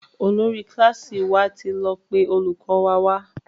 Olórí kílàsì wà tí lọ pé olùkó wa wá.